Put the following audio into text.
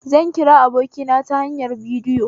Zan kira abokina ta hanyar bidiyo